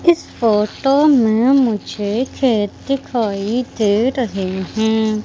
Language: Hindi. इस फोटो में मुझे खेत दिखाई दे रहे हैं।